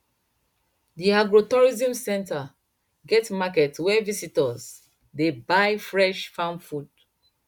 the agrotourism centre get market where visitors dey buy fresh farm food